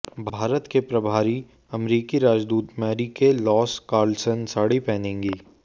भारत में प्रभारी अमेरिकी राजदूत मैरीके लॉस कार्लसन साड़ी पहनेंगी